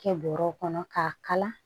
Kɛ bɔrɛw kɔnɔ k'a kala